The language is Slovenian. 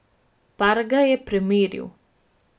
Park ga je premeril.